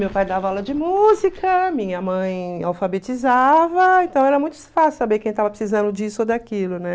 Meu pai dava aula de música, minha mãe alfabetizava, então era muito fácil saber quem tava precisando disso ou daquilo, né?